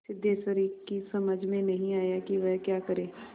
सिद्धेश्वरी की समझ में नहीं आया कि वह क्या करे